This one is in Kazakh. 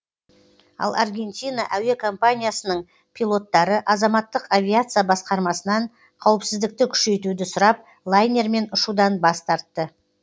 ал аргентина әуекомпаниясының пилоттары азаматтық авиация басқармасынан қауіпсіздікті күшейтуді сұрап лайнермен ұшудан бас тартты